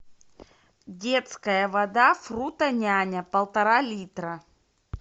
детская вода фрутоняня полтора литра